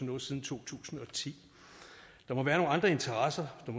noget siden to tusind og ti der må være nogle andre interesser der